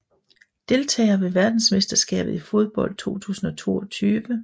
Deltagere ved verdensmesterskabet i fodbold 2022